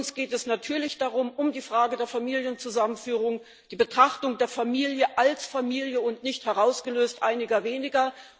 Uns geht es natürlich um die Frage der Familienzusammenführung, die Betrachtung der Familie als Familie und nicht herausgelöst einiger weniger.